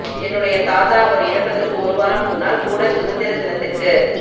என்னுடைய தாத்தா அவர் இறப்பதற்கு ஒரு வாரம் முன்னால் கூடச் சுகந்திர தினத்திற்கு